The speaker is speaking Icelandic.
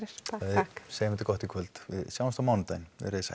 segjum þetta gott í kvöld við sjáumst á mánudaginn verið þið sæl